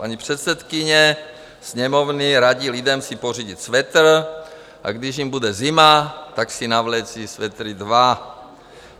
Paní předsedkyně Sněmovny radí lidem si pořídit svetr, a když jim bude zima, tak si navléci svetry dva.